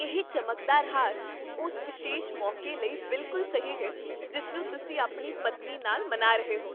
ਇਹ ਚਮਕਦਾ ਹਾਰ ਉਸ ਵਿਸ਼ੇਸ਼ ਮੌਕੇ ਲਈ ਬਿਲਕੁਲ ਸਹੀ ਹੈ ਜਿਸ ਨੂੰ ਤੁਸੀਂ ਆਪਣੀ ਪਤਨੀ ਨਾਲ ਮਨਾ ਰਹੇ ਹੋ,